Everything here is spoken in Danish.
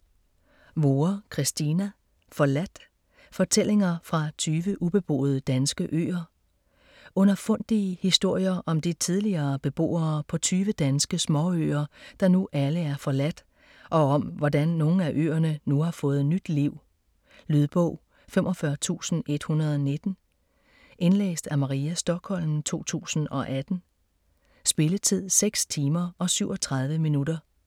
Vorre, Christina: Forladt: fortællinger fra 20 ubeboede danske øer Underfundige historier om de tidligere beboere på tyve danske småøer, der nu alle er forladt, og om hvordan nogle af øerne nu har fået nyt liv. Lydbog 45119 Indlæst af Maria Stokholm, 2018. Spilletid: 6 timer, 37 minutter.